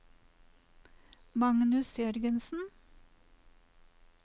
Magnus Jørgensen